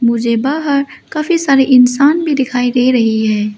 मुझे बाहर काफी सारे इंसान भी दिखाई दे रही हैं।